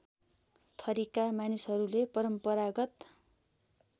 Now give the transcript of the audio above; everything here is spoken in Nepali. थरीका मानिसहरूले परम्परागत